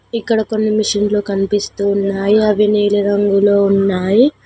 ఇక్కడ కొన్ని మషిన్లు కనిపిస్తున్నాయి అవి నీలి రంగులో ఉన్నాయి.